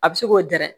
A bɛ se k'o gɛrɛ